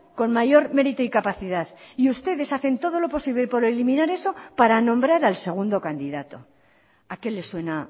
con mayor mérito y capacidad y ustedes hacen todo lo posible por eliminar eso para nombrar al segundo candidato a qué les suena